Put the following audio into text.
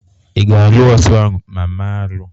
Ị ga-alụ osu ahụ ma mee arụ?